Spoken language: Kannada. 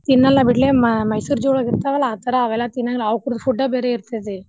ತಿನ್ನಾಲ್ಲಾ ಬಿಡ್ಲೇ ಮೈ~ ಮೈಸೂರ್ zoo ಒಳಗ್ ಇರ್ತಾವಲಾ ಅವೆಲ್ಲಾ ತಿನ್ನಲ್ಲ ಅವ್ಕರ food ಬೇರೆ ಇರ್ತೇತಿ.